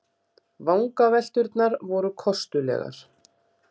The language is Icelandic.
Vangavelturnar voru kostulegar.